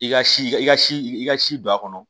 I ka si i ka si i ka si don a kɔnɔ